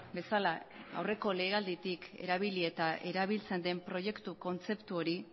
bezala aurreko legealditik erabili eta erabiltzen den proiektu kontzeptu hori